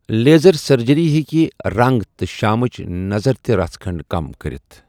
Laser surgery ہٮ۪کہِ رنٛگ تہٕ شامٕچ نظر تہِ رَس کھٔڑ کم کٔرِتھ ۔